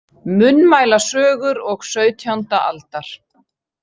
Munnmælasögur og sautjánda aldar.